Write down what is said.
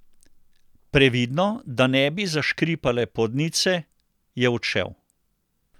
Previdno, da ne bi zaškripale podnice, je odšel.